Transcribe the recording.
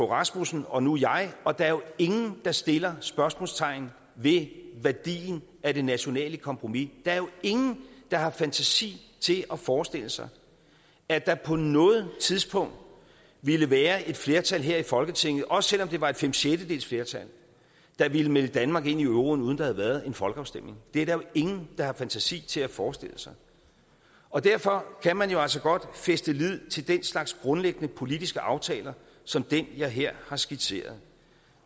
rasmussen og nu jeg og der er jo ingen der sætter spørgsmålstegn ved værdien af det nationale kompromis der er jo ingen der har fantasi til at forestille sig at der på noget tidspunkt ville være et flertal her i folketinget også selv om det var et fem sjettedeles flertal der ville melde danmark ind i euroen uden der havde været en folkeafstemning det er der jo ingen der har fantasi til at forestille sig og derfor kan man jo altså godt fæste lid til den slags grundlæggende politiske aftaler som den jeg her har skitseret